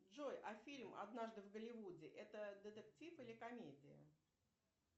джой а фильм однажды в голливуде это детектив или комедия